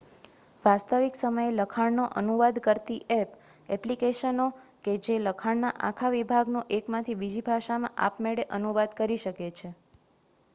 વાસ્તવિક સમયે લખાણનો અનુવાદ કરતી ઍપ ઍપ્લિકેશનો કે જે લખાણના આખા વિભાગનો એકમાંથી બીજી ભાષામાં આપમેળે અનુવાદ કરી શકે છે